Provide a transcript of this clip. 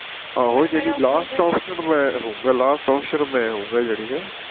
ਆਹੋ ਯਾਨੀ last option ਮੈਂ ਹੋਉਗਾ last option ਮੈਂ ਹੋਉਗਾ ਯਾਨੀ ਹੈ